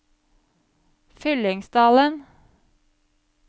Fyllingsdalen